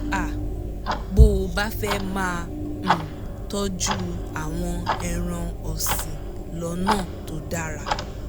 um bó o bá fẹ́ máa um tọ́jú àwọn ẹran ọ̀sìn lọ́nà tó dára